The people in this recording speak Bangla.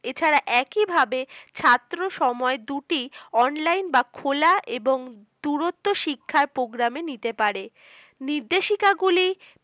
এছাড়া একই ভাবে ছাত্র সময় দুটি online বা খোলা এবং দূরুত্ব শিক্ষার program এ নিতে পারে নির্দেশিকা গুলি